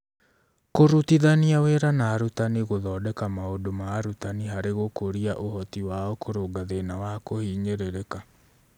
Kũrutithania wĩra na arutani gũthondeka maũndũ ma arutani harĩ gũkũria ũhoti wao kũrũnga thĩna wa kũhinyĩrĩrĩka